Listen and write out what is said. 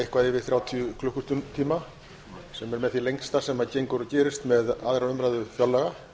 eitthvað yfir þrjátíu klukkutíma sem er með því lengsta sem gengur og gerist með annarri umræðu fjárlaga